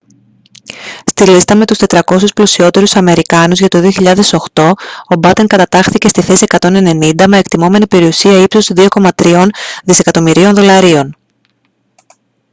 στη λίστα με τους 400 πλουσιότερους αμερικάνους για το 2008 ο batten κατατάχθηκε στη θέση 190 με εκτιμώμενη περιουσία ύψους 2,3 δισεκατομμυρίων δολαρίων